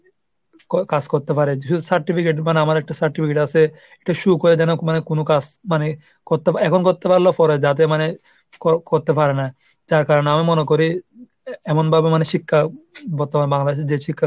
কাজ করতে পারে, যেহুতু certificate মানে আমার একটা certificate আছে, একটা show করে দেন। মানে কোন কাজ মানে করতে, এখন করতে পারলেও পরে যাতে মানে করতে পারে না যার কারণে আমি মনে করি এমন এমন ভাবে মানে শিক্ষা বর্তমান বাংলাদেশের যে শিক্ষা